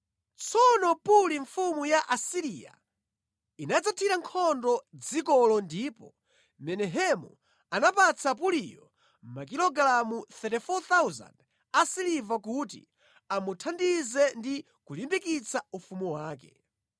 Tsono Puli mfumu ya ku Asiriya inadzathira nkhondo dzikolo ndipo Menahemu anapatsa Puliyo makilogalamu 34,000 a siliva kuti amuthandize ndi kulimbikitsa ufumu wake.